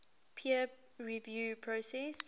peer review process